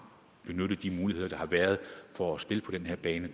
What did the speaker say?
vi benyttet de muligheder der har været for at spille på den her bane